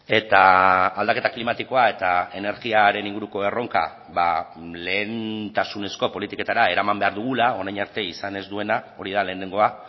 eta aldaketa klimatikoa eta energiaren inguruko erronka lehentasunezko politiketara eraman behar dugula orain arte izan ez duena hori da lehenengoa